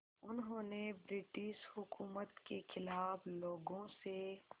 उन्होंने ब्रिटिश हुकूमत के ख़िलाफ़ लोगों से